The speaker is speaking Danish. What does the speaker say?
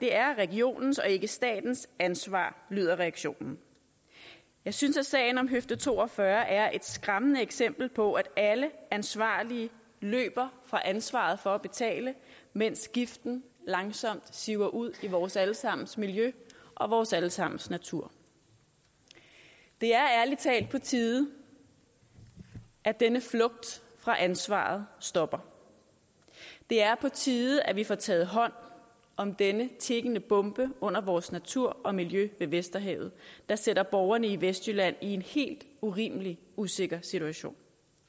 er regionens og ikke statens ansvar lyder reaktionen jeg synes at sagen om høfde to og fyrre er et skræmmende eksempel på at alle ansvarlige løber fra ansvaret for at betale mens giften langsomt siver ud i vores alle sammens miljø og vores alle sammens natur det er ærlig talt på tide at denne flugt fra ansvaret stopper det er på tide at vi får taget hånd om denne tikkende bombe under vores natur og miljø ved vesterhavet der sætter borgerne i vestjylland i en helt urimelig usikker situation